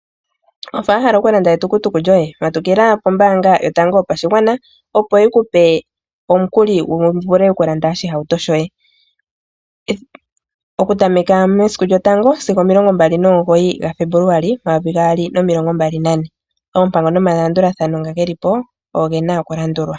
Wafa wa hala okulanda etukutuku lyoye? Matukila pombaanga yotango yopashigwana opo yi kupe omukuli wu vule okulanda oshihauto shoye. Okutameka mesiku lyotango sigo omilongo mbali nomugoyi gaFebuluali omayovi gaali nomilongo mbali nane. Oompango nomalandulathano nga geli po ogo gena okulandulwa.